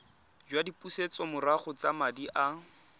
jwa dipusetsomorago tsa madi a